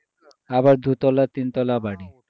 আবার দুতলা তিনতলা বাড়ি